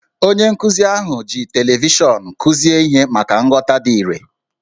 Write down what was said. Onye nkụzi ahụ ji televishọnụ kụzie ihe maka nghọta dị irè